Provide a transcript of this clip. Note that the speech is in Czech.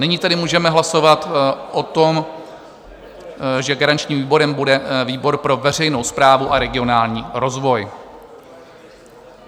Nyní tedy můžeme hlasovat o tom, že garančním výborem bude výbor pro veřejnou správu a regionální rozvoj.